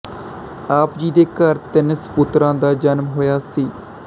ਆਪ ਜੀ ਦੇ ਘਰ ਤਿੰਨ ਸਪੁੱਤਰਾਂ ਦਾ ਜਨਮ ਹੋਇਆ ਸੀ